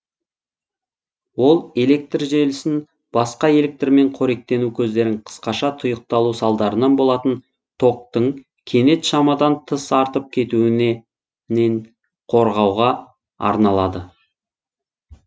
ол электр желісін басқа электрмен қоректену көздерін қысқаша тұйықталу салдарынан болатын токтың кенет шамадан тыс артып кетуіне қорғауға арналады